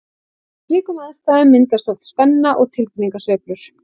Í slíkum aðstæðum myndast oft spenna og tilfinningasveiflur.